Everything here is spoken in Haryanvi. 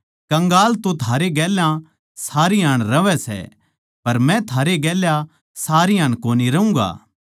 कंगाल तो थारै गेल्या सारी हाण रहवै सै पर मै थारै गेल्या सारी हाण कोनी रहूँगा